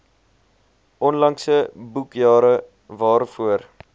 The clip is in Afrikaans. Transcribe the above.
onlangse boekjare waarvoor